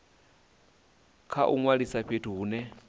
kha u ṅwalisa fhethu hune